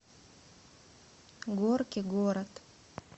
горки город